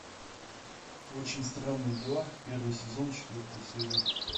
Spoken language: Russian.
очень странные дела первый сезон четвертая серия